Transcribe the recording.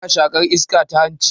Ana shaƙar iska ta hanci